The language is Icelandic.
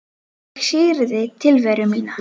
Ég syrgði tilveru mína.